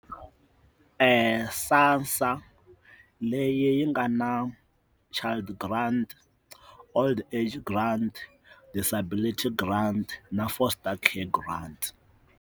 SASSA leyi yi nga na child grant, old age grant, disabilities grant na foster care grant.